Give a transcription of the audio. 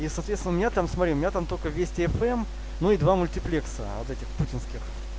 и соответственно у меня там смотри у меня там только вести фм ну и два мультиплекса от этих путинских